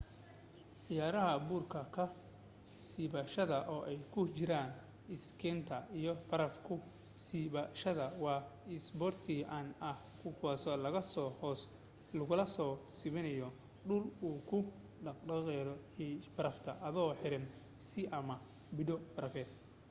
ciyaaraha buurka ka siibashada oo ay ku jiraan iskeytiga iyo baraf ku siibashada waa isboorti caan ah kuwaaso laga soo hoos looga soo siibanayo dhul uu ku dahaadhan yahay barafa ado xiran iskii ama boodh barafeed